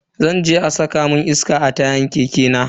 Zan je a saka mun iska a tayan keke na.